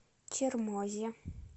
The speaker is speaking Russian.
чермозе